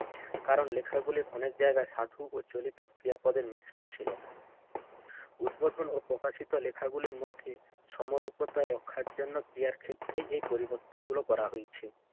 কারণ লেখাগুলোর অনেক জায়গায় সাধু ও চলিত ক্রিয়াপদের মিশ্রণ ছিল। উদ্বোধন ও প্রকাশিত লেখাগুলির মধ্যে সমরূপতার রক্ষার জন্য ক্রিয়ার ক্ষেত্রে এই পরিবর্তনগুলো করা হয়েছে।